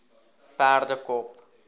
perdekop